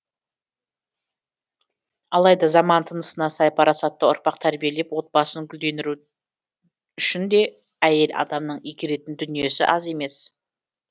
алайда заман тынысына сай парасатты ұрпақ тәрбиелеп отбасын гүлдендіру үшін де әйел адамның игеретін дүниесі аз емес